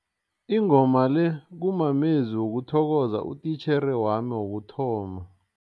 Ingoma le kumamezwi wokuthokoza utitjhere wami wokuthoma.